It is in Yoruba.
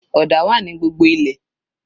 Ọ̀dà wà ní gbogbo ilẹ̀